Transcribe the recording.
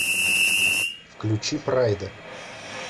включи прайда